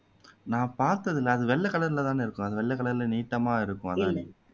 நான் பார்த்ததில்லை அது வெள்ளை கலர்லதான இருக்கும் அது வெள்ளை கலர்ல நீட்டமா இருக்கும் அதுதான